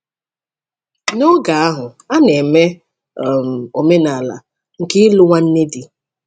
N’oge ahụ, a na-eme um omenala nke ịlụ nwanne di.